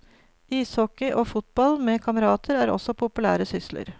Ishockey og fotball med kamerater er også populære sysler.